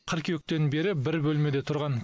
қыркүйектен бері бір бөлмеде тұрған